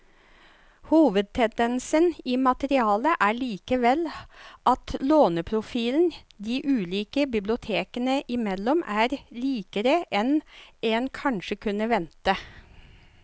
Hovedtendensen i materialet er likevel at låneprofilen de ulike bibliotekene imellom er likere enn en kanskje kunne vente.